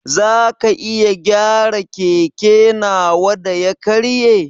Zaka iya gyara keke nawa da ya karye?